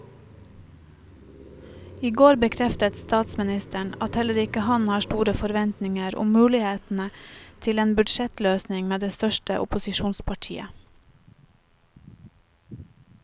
I går bekreftet statsministeren at heller ikke han har store forventninger om mulighetene til en budsjettløsning med det største opposisjonspartiet.